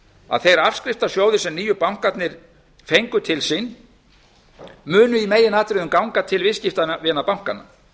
að þeir afskriftasjóðir sem nýju bankarnir fengu til sín munu í meginatriðum ganga til viðskiptavina bankanna